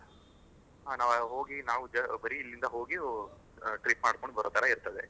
ಹಾ ನಾವ್ ಹೋಗಿ ನಾವ್ ಬರಿ ಇಲ್ಲಿಂದ ಹೋಗಿ ಅ trip ಮಾಡ್ಕೊಂಡ್ ಬರು ತರ ಇರ್ತದೆ.